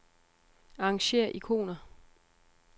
Arrangér ikoner.